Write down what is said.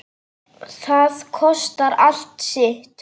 Það kostar allt sitt.